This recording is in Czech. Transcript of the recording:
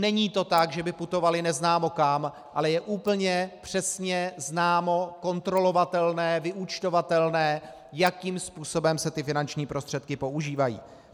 Není to tak, že by putovaly neznámo kam, ale je úplně přesně známo, kontrolovatelné, vyúčtovatelné, jakým způsobem se ty finanční prostředky používají.